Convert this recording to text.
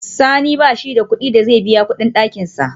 Sani bashi da kudin da zai biya kudin dakinsa